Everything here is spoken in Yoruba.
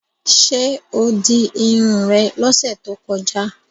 Ṣé o di irun rẹ lọ́sẹ̀ tó kọjá?